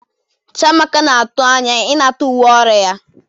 Chiamaka na-atụ anya ịnata uwe ọrụ ya.